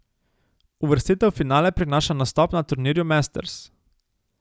Uvrstitev v finale prinaša nastop na turnirju masters.